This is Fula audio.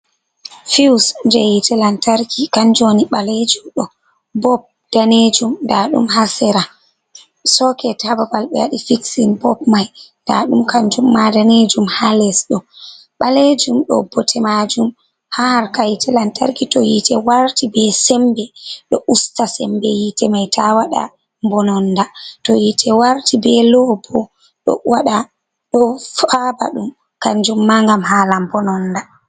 Fiwus jey yiite lantarki kanu woni ɓaleejum ɗo, bob daneejum ndaa ɗum haa sera soket haa babal ɓe waɗi fiksin bob mai, ndaa ɗum kanjumma daneejum haa les ɗo ɓaleejum. ɗo bote maajum haa harka yiite lantarki to yiite warti bee semmbe ɗo usta semmbe yiite mai taa waɗa mbononnda to yiite warti bee loo boo ɗo faaba ɗum, kannjum maa ngam haala mbononda.